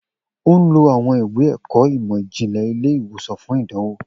O n lo awọn iwe-ẹkọ imọ-jinlẹ ile-iwosan fun idanwo